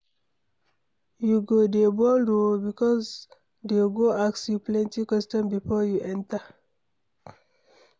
You go dey bold oo, because dey go ask you plenty question before you enter.